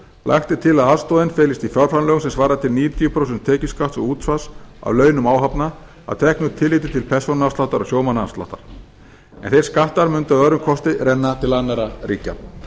lagt er til að aðstoðin felist í fjárframlögum sem svari til níutíu prósent tekjuskatts og útsvars af launum áhafna að teknu tilliti til persónuafsláttar og sjómannaafsláttar en þeir skattar mundu að öðrum kosti renna til annarra ríkja